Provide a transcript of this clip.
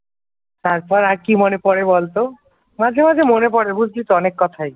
তারপর আর কি মনে পড়ে বল তো? মাঝে মাঝে মনে পড়ে বুঝলি তো অনেক কথাই